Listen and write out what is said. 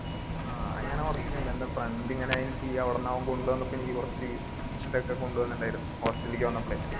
ആഹ് അങ്ങനെ കുറച്ചൊക്കെണ്ട് എൻറെ friend ഇങ്ങനെ അവിടുന്ന് അവൻ കൊണ്ടുവന്നപ്പോ എനിക്ക് കുറച്ച് ഇതൊക്കെ കൊണ്ടുവന്ന്ണ്ടായിരുന്നു hostel ലിലേക് വന്നപ്പളെ